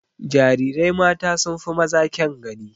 Jarirai mata sun fi maza kyan gani.